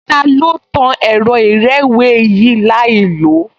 Ta ló tan ẹ̀rọ ìrẹ́wèé yìí láìlòó?